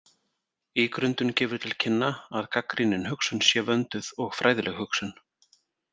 Ígrundun gefur til kynna að gagnrýnin hugsun sé vönduð og fræðileg hugsun.